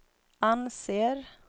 anser